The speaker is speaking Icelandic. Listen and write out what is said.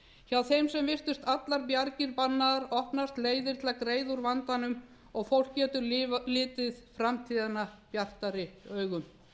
hjá þeim sem virtust allar bjargir bannaðar opnast leiðir til að greiða úr vandanum og fólk getur litið framtíðina bjartari augum